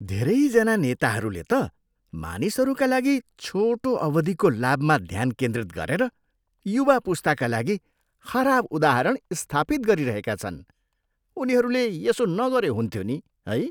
धेरैजना नेताहरूले त मानिसहरूका लागि छोटो अवधिको लाभमा ध्यान केन्द्रित गरेर युवा पुस्ताका लागि खराब उदाहरण स्थापित गरिरहेका छन्। उनीहरूले यसो नगरे हुन्थ्यो नि, है?